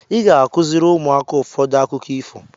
Ị ga-akụziri ụmụaka ụfọdụ akụkọ ifo.